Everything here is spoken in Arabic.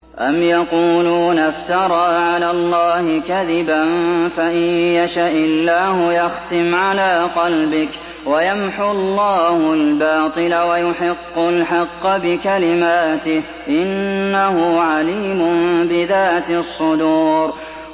أَمْ يَقُولُونَ افْتَرَىٰ عَلَى اللَّهِ كَذِبًا ۖ فَإِن يَشَإِ اللَّهُ يَخْتِمْ عَلَىٰ قَلْبِكَ ۗ وَيَمْحُ اللَّهُ الْبَاطِلَ وَيُحِقُّ الْحَقَّ بِكَلِمَاتِهِ ۚ إِنَّهُ عَلِيمٌ بِذَاتِ الصُّدُورِ